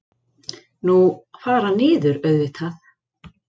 Nú. fara niður auðvitað!